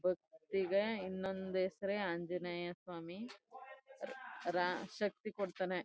ಈಗ ಇನ್ನೊಂದ್ ಹೆಸರುಯೇ ಆಂಜಿನೇಯ ಸ್ವಾಮಿ ಶಕ್ತಿ ಕೊಡ್ತಾನೆ.